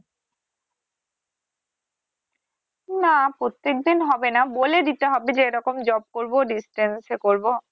না প্রত্যেকদিন হবে না বলে দিতে হবে যে এরকম job করবো distance এ করব।